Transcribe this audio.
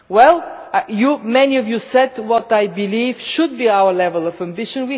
be? Well, many of you said what I believe should be our level of ambition.